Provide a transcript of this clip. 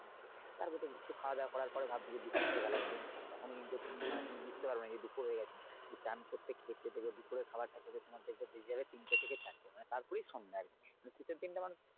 তারপরে তুমি একটু খাওয়া দাওয়া করার পরে ভাববে যে দুপুর হয়ে গেলো তখনও কিন্তু মানে তুমি বুঝতে পারবে না যে দুপুর হয়ে গেছে তুমি স্নান করতে খেতে দেখবে দুপুরের খাবার খেতে খেতে তোমার বেজে যাবে তিনটে থেকে চারটে তারপরে সন্ধ্যা আরকি শীতের দিনটা মানে।